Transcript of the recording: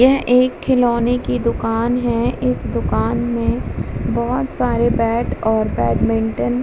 यह एक खिलौने की दुकान है इस दुकान में बोहोत सारे बैट और बैडमिंटन --